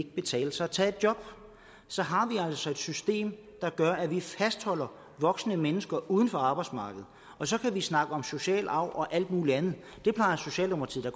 betale sig at tage et job så har vi altså et system der gør at vi fastholder voksne mennesker uden for arbejdsmarkedet og så kan vi snakke om social arv og alt muligt andet det plejer socialdemokratiet